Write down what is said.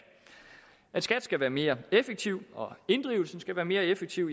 at skat skal være mere effektiv og inddrivelsen skal være mere effektiv